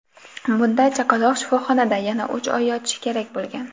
Bunda chaqaloq shifoxonada yana uch oy yotishi kerak bo‘lgan.